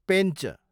Pench